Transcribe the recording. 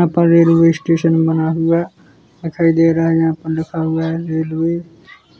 यहां पर railway station बना हुआ दिखाई दे रहा है यहां पर लिखा हुआ है रेलवे